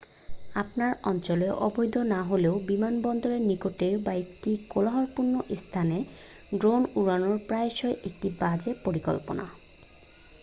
আপনার অঞ্চলে অবৈধ না হলেও বিমানবন্দরের নিকটে বা একটি কোলাহলপূর্ণ স্থানে ড্রোন উড়ানো প্রায়শই একটি বাজে পরিকল্পনা